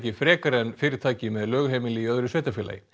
frekar en fyrirtæki með lögheimili í öðru sveitarfélagi